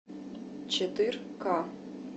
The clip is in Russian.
четыр ка